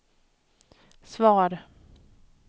svar